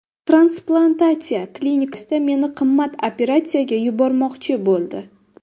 Transplantatsiya klinikasida meni qimmat operatsiyaga yuborishmoqchi bo‘ldi.